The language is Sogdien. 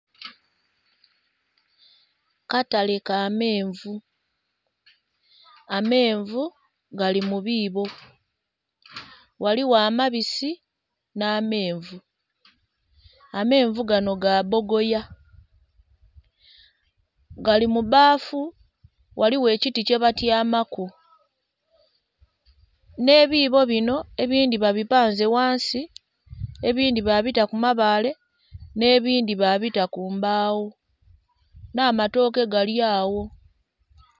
Katale ka menvu. Amenvu gali mu biibo. Ghaligho amabisi nh'amenvu. Amenvu gano ga bbogoya. Gali mu bbafu, ghaligho ekiti kyebatyamaku. Nh'ebiibo binho ebindhi babipanze ghansi, ebindhi babita ku mabaale, nh'ebindhi babita ku mbaawo, nh'amatooke gali awo.